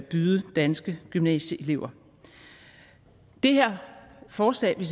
byde danske gymnasieelever det her forslag vil